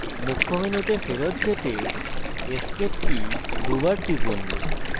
মুখ্য মেনুতে ফেরৎ যেতে escape key দুইবার টিপুন